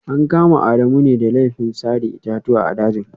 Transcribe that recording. An kama Adamu ne da laifin sare itatuwa a dajin